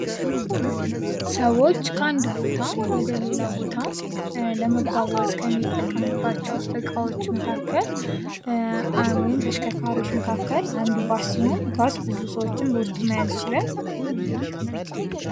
ሰወች ከአንድ ቦታ ወደ ሌላ ቦታ ለመጓጓዝ ከሚጠቀሙባቸው እቃወች መካከል ወይም ተሽከርካሪዎች መካከል አንዱ ባስ ሲሆን ባስ ብዙ ሰወችን በውስጡ መያዝ ይችላል።